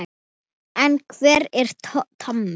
En hver er Tommi?